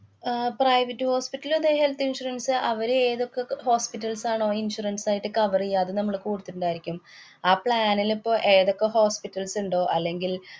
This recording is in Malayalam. അഹ് private hospital ല് തേ health insurance അവരേതൊക്കെ ക~ hospitals ആണോ insurance ആയിട്ട് cover ചെയ്യ അത് നമ്മള് കൊടുത്തിട്ടിണ്ടായിരിക്കും. ആ plan ലിപ്പൊ ഏതൊക്കെ hospitals ഇണ്ടോ, അല്ലെങ്കില്‍